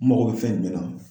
N mago bɛ fɛn jumɛn na.